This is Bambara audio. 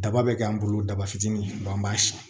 Daba bɛ k'an bolo daba fitinin dɔw an b'a si